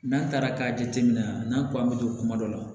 N'an taara k'a jateminɛ a n'an ko an be don kuma dɔ la